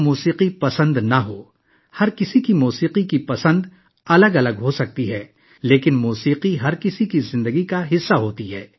موسیقی کس کو پسند نہیں؟ موسیقی کے لیے ہر ایک کا انتخاب مختلف ہو سکتا ہے، لیکن موسیقی ہر ایک کی زندگی کا حصہ ہے